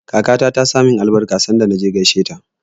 Kakata ta saka min albarka sanda na je gaisheta.